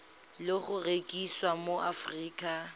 le go rekisiwa mo aforika